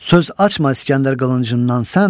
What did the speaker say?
Söz açma İskəndər qılıncından sən.